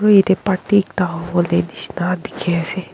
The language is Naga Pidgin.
aro yete party ekta howole nishina diki ase.